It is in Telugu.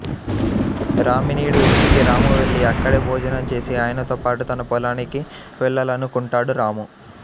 రామినీడు ఇంటికి రాము వెళ్ళి అక్కడే భోజనం చేసి ఆయనతో పాటు తన పొలానికి వెళ్ళాలనుకుంటాడు రాము